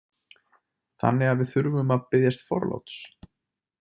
Þannig að við þurfum að biðjast forláts.